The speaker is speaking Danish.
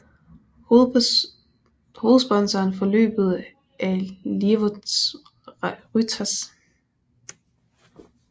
Hovedsponsoren for løbet er Lietuvos Rytas